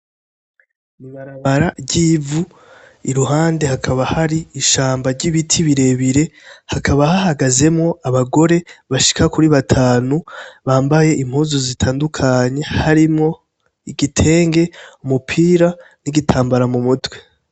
Mibarabara ry'ivu i ruhande hakaba hari ishamba ry'ibiti birebire hakaba hahagazemwo abagore bashika kuri batanu bambaye impozu zitandukanye harimwo igitenge umupira n'igitambara mu mutwe.